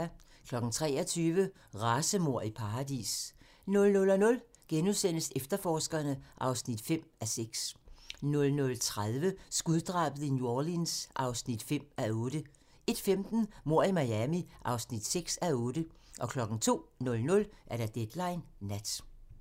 23:00: Racemord i paradis 00:00: Efterforskerne (5:6)* 00:30: Skuddrabet i New Orleans (5:8) 01:15: Mord i Miami (6:8) 02:00: Deadline Nat